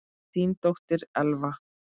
Þín dóttir, Elfa.